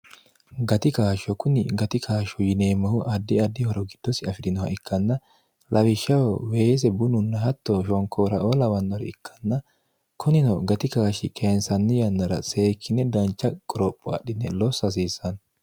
gati kaashsho kunni gati kaashshu yineemmohu addi addi horo giddosi afi'dinoha ikkanna lawishshaho weese bununna hatto shonkooraoo lawannore ikkanna kunino gati kaashshi keensanni yannara seekkinne dancha qoropho adhine losso hasiissanno